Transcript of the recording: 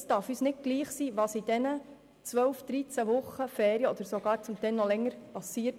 Es darf uns nicht gleichgültig sein, was in den zwölf, dreizehn oder zum Teil mehr Wochen Ferien mit diesen Kindern passiert.